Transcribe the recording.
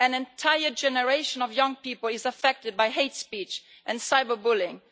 An entire generation of young people is affected by hate speech and cyber bullying.